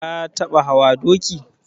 Ka taɓa hawa doki?